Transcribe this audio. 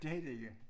Det de ikke